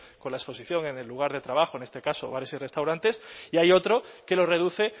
con la exposición en el lugar de trabajo en este caso bares y restaurantes y hay otro que lo reduce